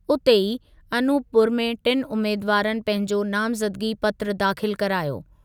उते ई अनूपपुर में टिनि उमेदवारनि पंहिंजो नामज़दगी पत्रु दाख़िल करायो।